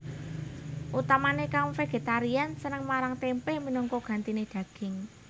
Utamané kaum vegetarian seneng marang témpé minangka gantiné daging